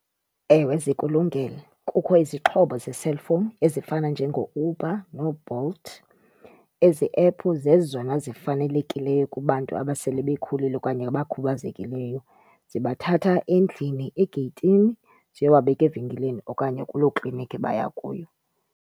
Ewe, zikulungele. Kukho izixhobo ze-cellphone ezifana njengoUber nooBolt. Ezi ephu zezona zifanelekileyo kubantu abasele bekhulile okanye abakhubazekileyo. Zibathatha endlini egeyitini ziyobabeka evenkileni okanye kuloo klinikhi baya kuyo.